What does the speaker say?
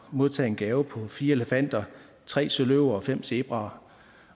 modtage en gave på fire elefanter tre søløver og fem zebraer